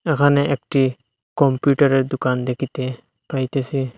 এখানে একটি কম্পিউটার এর দোকান দেকিতে পাইতেসি।